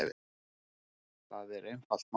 Það er einfalt mál